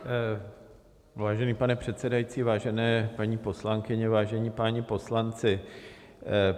Vážený pane předsedající, vážené paní poslankyně, vážení páni poslanci.